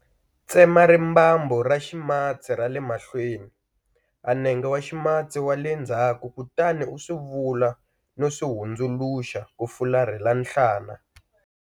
Tsema rimbambu ra ximatsi ra le mahlweni a nenge wa ximatsi wa le ndzhaku kutani u swi vula no swi hundzuluxa ku fularhela nhlana.